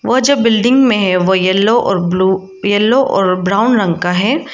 और जो बिल्डिंग में है वो येलो और ब्लू येलो और ब्राउन रंग का है।